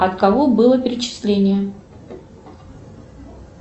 от кого было перечисление